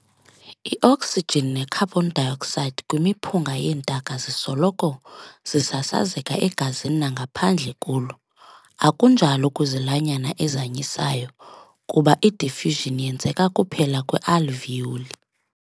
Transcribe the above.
I-oksijini ne-carbon dioxide kwimiphunga yeentaka zisoloko zisasazeka egazini nangaphandle kulo, akunjalo kwizilwanyana ezanyisayo kuba i-diffusion yenzeka kuphela kwi-alveoli.